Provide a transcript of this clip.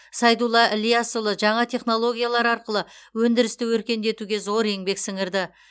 сайдулла ілиясұлы жаңа технологиялар арқылы өндірісті өркендетуге зор еңбек сіңірді